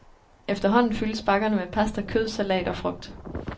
Efterhånden fyldes bakkerne med pasta, kød, salat og frugt.